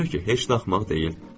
Ona görə ki, heç də axmaq deyil.